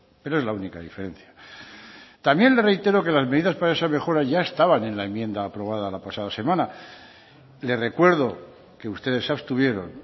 pero es la única diferencia también le reitero que las medidas para esa mejora ya estaban en la enmienda aprobada la pasada semana le recuerdo que ustedes se abstuvieron